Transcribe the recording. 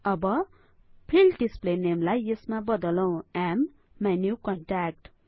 अब field display नेमलाइ यसमा बदलौं माइन्युकन्ट्याक्ट